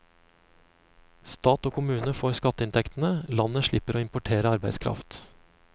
Stat og kommune får skatteinntektene, landet slipper å importere arbeidskraft.